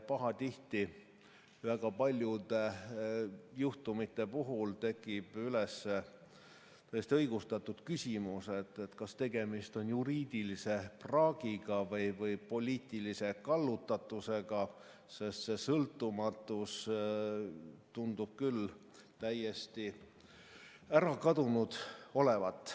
Pahatihti väga paljude juhtumite puhul kerkib üles täiesti õigustatud küsimus, kas tegemist on juriidilise praagiga või poliitilise kallutatusega, sest see sõltumatus tundub küll täiesti ära kadunud olevat.